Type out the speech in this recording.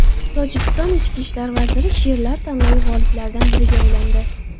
Tojikiston ichki ishlar vaziri she’rlar tanlovi g‘oliblaridan biriga aylandi.